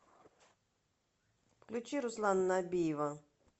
включи руслана набиева